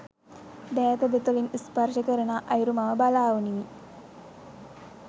දෑත දෙතොලින් ස්පර්ශ කරනා අයුරු මම බලා උනිමි.